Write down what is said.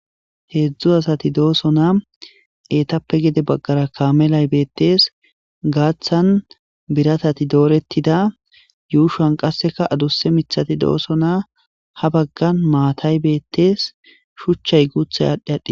Hezhzhu asat dosonna etappe hena baggara kamelay betes. Gaththan biratati doretida. Yushan qase adussa miththati dosonna. Ha bagan matay bettes. Shuchay guththa adhdhi